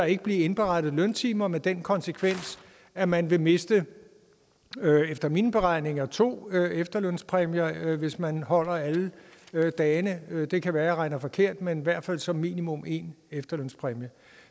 ikke bliver indberettet løntimer med den konsekvens at man vil miste efter mine beregninger to efterlønspræmier hvis man holder alle dagene det kan være at jeg regner forkert men i hvert fald som minimum en efterlønspræmie